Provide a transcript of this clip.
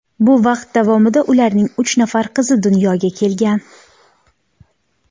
Bu vaqt davomida ularning uch nafar qizi dunyoga kelgan.